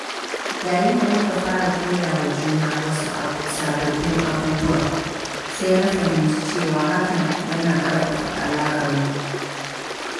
Yayin da muka fara koyawa juna wasu sababbin abubuwa, sai na fahimci cewa hakan yana ƙarfafa alaƙarmu.